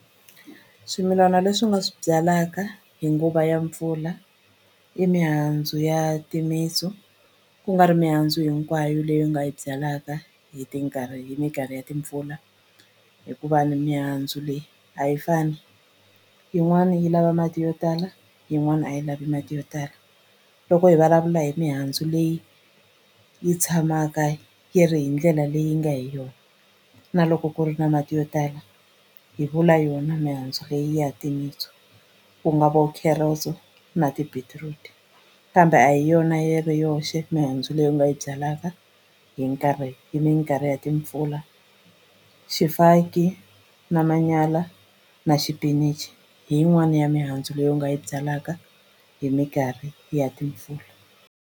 Swimilani leswi u nga swi byalaka hi nguva ya mpfula i mihandzu ya timitsu kungari mihandzu hinkwayo leyi u nga yi byalaka hi hi minkarhi ya timpfula hikuva ni mihandzu leyi a yi fani yin'wani yi lava mati yo tala yin'wana a yi lavi mati yo tala loko hi vulavula hi mihandzu leyi yi tshamaka yi ri hi ndlela leyi nga hi yona na loko ku ri na mati yo tala hi vula yona mihandzu leyi ya timitsu ku nga vo carrots-o na ti-beetroot kambe a hi yona yi ri yoxe mihandzu leyi u nga yi byalaka hi nkarhi hi minkarhi ya timpfula swifaki na manyala na xipinichi hi yin'wani ya mihandzu leyi u nga yi byalaka hi minkarhi ya timpfula.